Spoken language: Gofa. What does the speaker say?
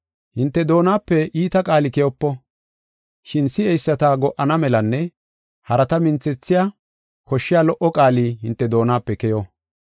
Hinte doonape iita qaali keyopo. Shin si7eyisata go77ana melanne harata minthethiya koshshiya lo77o qaali hinte doonape keyo.